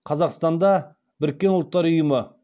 қазақстанда біріккен ұлттар ұйымы